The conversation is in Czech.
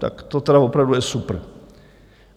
Tak to teda opravdu je super.